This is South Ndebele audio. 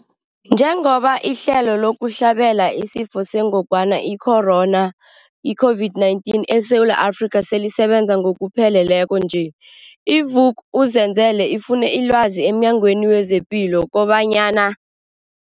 Njengoba ihlelo lokuhlabela isiFo sengogwana i-Corona, i-COVID-19, eSewula Afrika selisebenza ngokupheleleko nje, i-Vuk'uzenzele ifune ilwazi emNyangweni wezePilo kobanyana.